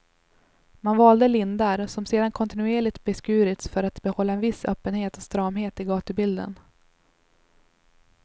Man valde lindar, som sedan kontinuerligt beskurits för att behålla en viss öppenhet och stramhet i gatubilden.